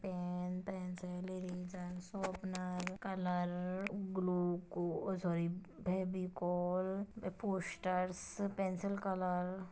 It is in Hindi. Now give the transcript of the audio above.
pen pencil eraser sharpener colour glue को oh sorry Fevicol posters pencil colour --